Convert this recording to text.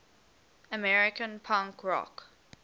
american punk rock